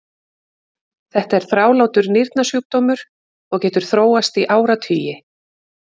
þetta er þrálátur nýrnasjúkdómur og getur þróast í áratugi